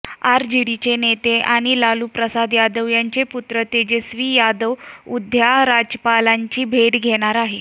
आरजेडीचे नेते आणि लालू प्रसाद यादव यांचे पुत्र तेजस्वी यादव उद्या राज्यपालांची भेट घेणार आहेत